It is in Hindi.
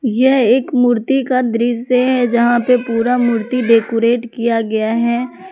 यह एक मूर्ति का दृश्य है यहां पे पूरा मूर्ति डेकोरेट किया गया है।